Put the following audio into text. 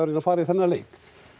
að fara í þennan leik